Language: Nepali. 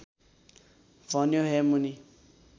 भन्यो हे मुनि